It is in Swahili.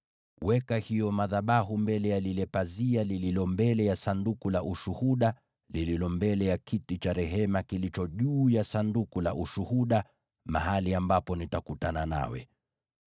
Weka hayo madhabahu mbele ya lile pazia lililo mbele ya Sanduku la Ushuhuda, lililo mbele ya kiti cha rehema kilicho juu ya Sanduku la Ushuhuda, mahali ambapo nitakutana nawe.